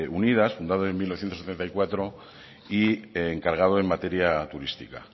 unidas fundada en mil novecientos setenta y cuatro y encargado en materia turística